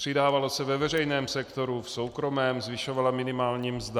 Přidávalo se ve veřejném sektoru, v soukromém zvyšovala minimální mzda.